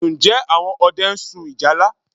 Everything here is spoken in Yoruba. Ǹjẹ́ àwọn ọdẹ ń sun ìjálá?